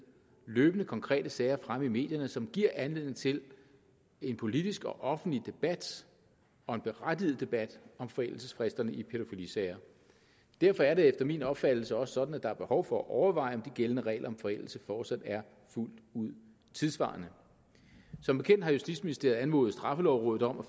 løbende konkrete sager fremme i medierne som giver anledning til en politisk og offentlig debat og en berettiget debat om forældelsesfristerne i pædofilisager derfor er det efter min opfattelse også sådan at der er behov for at overveje om de gældende regler om forældelse fortsat er fuldt ud tidssvarende som bekendt har justitsministeriet anmodet straffelovrådet om at